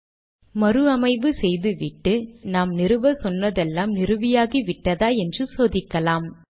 இங்கே ஒரு மறு அமைவு செய்துவிட்டு நாம் நிறுவச்சொன்னதெல்லாம் நிறுவியாகிவிட்டதா என்று சோதிக்கலாம்